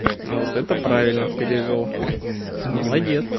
а вот это правильно перевёл молодец